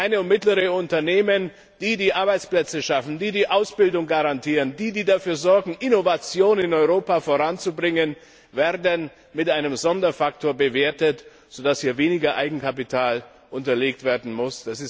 Kleine und mittlere Unternehmen, die die Arbeitsplätze schaffen, die die Ausbildung garantieren, die dafür sorgen, Innovation in Europa voranzubringen, werden mit einem Sonderfaktor bewertet, sodass hier weniger Eigenkapital unterlegt werden muss.